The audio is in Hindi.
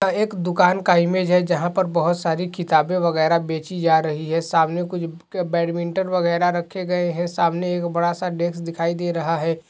एक दुकान का इमेज है जहाँ पर बहुत सारी किताबें वगैरह बेचीं जा रही हैं। सामने कुछ बैडमिंटन वगैरह रखे गयें हैं सामने एक बड़ा सा डेक्स दिखाई दे रहा है।